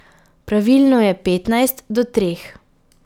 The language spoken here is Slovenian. Pravilno je petnajst do treh.